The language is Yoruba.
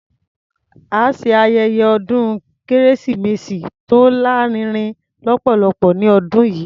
A ṣe ayẹyẹ ọdún kérésìmesì tó lárinrin lọ́pọ̀lọpọ̀ ní ọdún yìí.